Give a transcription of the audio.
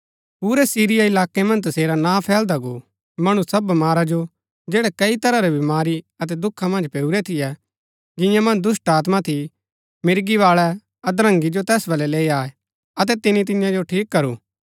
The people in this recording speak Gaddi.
पुरै सिरिया इलाकै मन्ज तसेरा नां फैलदा गो मणु सब बमारा जो जैड़ै कई तरह री बमारी अतै दुखा मन्ज पैऊरै थियै जिंआ मन्ज दुष्‍टात्मा थी मिर्गी बाळै अधरंगी जो तैस बलै लैई आये अतै तिनी तियां जो ठीक करू